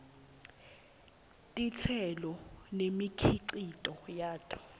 titselo nemikhicito yato